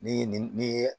Ni nin ye